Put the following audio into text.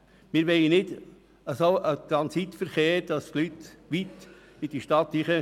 Wir wollen keinen Transitverkehr mitten durch die Stadt.